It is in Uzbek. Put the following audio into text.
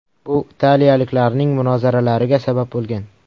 Bu italiyaliklarning munozaralariga sabab bo‘lgan.